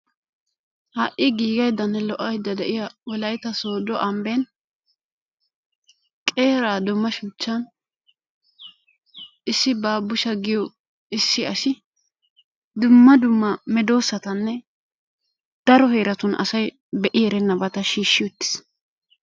Ha'i giigadaynne lo"oydda de'iya wollaytta sodo ambbeen qeeraa dumma shuuchchan issi baabushsha giyoo issi asi dumma dumma meedossatanne daro heeratun asay be'i erennabata shiishi uttiis.